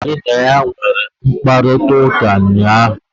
Onye ka gị na ya nwere mkparịkọtaụka ụnyaahụ?